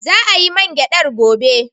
Za a yi man gyadar gobe.